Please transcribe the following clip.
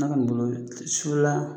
sufɛla